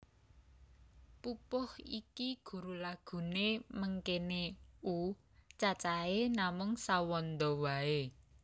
Pupuh iki guru laghuné mengkéné U Cacahé namung sawanda waé